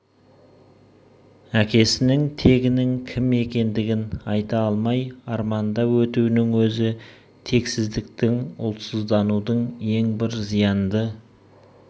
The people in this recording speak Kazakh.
әкесінің тегінің кім екендігін айта алмай арманда өтуінің өзі тексіздіктің ұлтсызданудың ең бір зиянды